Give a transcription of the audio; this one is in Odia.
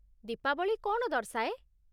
ଦୀପାବଳି' କ'ଣ ଦର୍ଶାଏ?